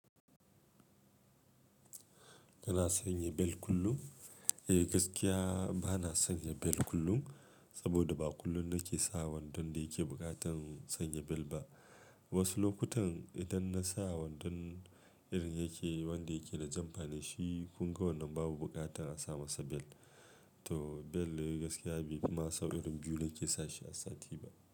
Kana sanya bel kullum? Eh gaskiya bana sanya bel kullum, saboda ba kullum nake sa wandon da yake buƙatar sanya bel ba. Wasu lokutan idan na sa wandon irin yake wanda yake da jamfane shi kunga wannan babu buƙatar a sa masa bel. To bel dai gaskiya bai fi ma sau irin biyu na ke sa shi a sati ba.